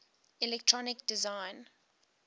electronic design